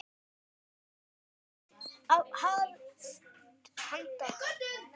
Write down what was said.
Hvenær yrði hafist handa?